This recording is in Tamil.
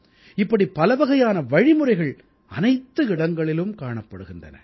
இப்படிப் பலவகையான வழிமுறைகள் அனைத்து இடங்களிலும் காணப்படுகின்றன